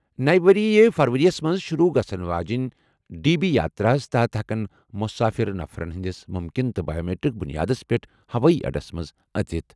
نَوِ ؤرۍ یہِ فرؤریَس منٛز شُروٗع گژھَن واجیٚنہِ ڈی بی یاترا ہَس تحت ہٮ۪کَن مُسافِر نفرَن ہِنٛدِس مُمکِن تہٕ بایومیٹرک بُنیادس پٮ۪ٹھ ہوٲیی اڈَس منٛز اژِتھ۔